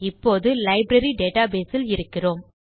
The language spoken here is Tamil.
இப்போது லைப்ரரி டேட்டாபேஸ் இல் இருக்கிறோம்